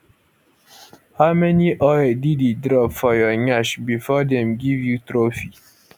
how many oil diddy drop for your nyash bifor dem give you trophy